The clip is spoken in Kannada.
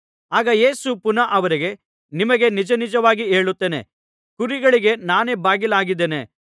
ಆಗ ಯೇಸು ಪುನಃ ಅವರಿಗೆ ನಿಮಗೆ ನಿಜನಿಜವಾಗಿ ಹೇಳುತ್ತೇನೆ ಕುರಿಗಳಿಗೆ ನಾನೇ ಬಾಗಿಲಾಗಿದ್ದೇನೆ